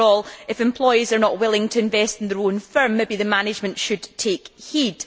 After all, if employees are not willing to invest in their own firm, maybe the management should take heed.